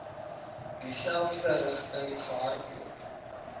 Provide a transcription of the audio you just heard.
dieselfde rigting gehardloop